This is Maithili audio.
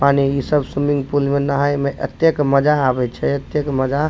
पानी इ सब स्विमिंग पूल में नहाय में एतक मजा आवे छै एतक मजा --